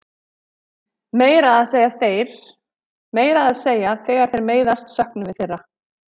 Meira að segja þegar þeir meiðast söknum við þeirra.